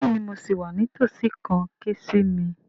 Bẹ́ẹ̀ni mo sì wà ní tòsí kàn ké sí mi